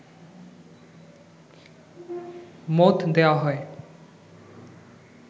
মত দেয়া হয়